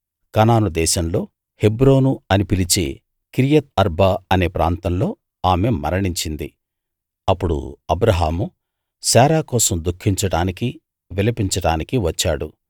కనాను దేశంలో హెబ్రోను అని పిలిచే కిరియత్ ఆర్బా అనే ప్రాంతంలో ఆమె మరణించింది అప్పుడు అబ్రాహాము శారా కోసం దుఃఖించడానికి విలపించడానికీ వచ్చాడు